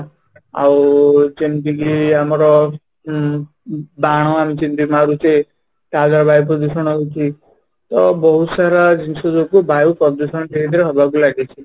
ଆଉ ଯେମିତି କି ଆମର ବାଣ ଆଣୁଛନ୍ତି ତା ଦ୍ୱାରା ବାୟୁ ପ୍ରଦୂଷଣ ହଉଛି ତ ବହୁତ ସାରା ଜିନିଷ ଯୋଗୁଁ ବାୟୁ ପ୍ରଦୂଷଣ ଧୀରେ ଧୀରେ ହବାକୁ ଲାଗିଛି